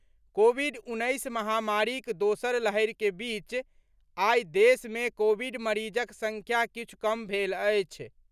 Covid उन्नैस महामारीक दोसर लहरिक बीच आई देश मे कोविड मरीजक संख्या किछु कम भेल अछि।